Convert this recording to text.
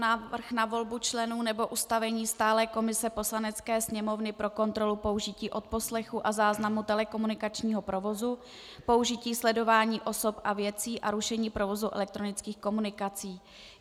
Návrh na volbu členů nebo ustavení stálé komise Poslanecké sněmovny pro kontrolu použití odposlechu a záznamu telekomunikačního provozu, použití sledování osob a věcí a rušení provozu elektronických komunikací